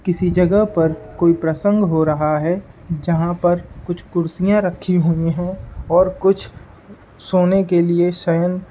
किसी जगह पर कोई प्रसंग हो रहा है जहां पर कुछ कुर्सियां रखी हुई है और कुछ सोने के लिए शयन --